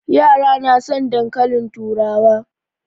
Yara na son dankalin turawa.